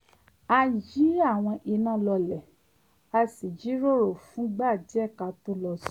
a yí àwọn iná lọlẹ̀ a sì jíròrò fúngbà díẹ̀ ká tó lọ sùn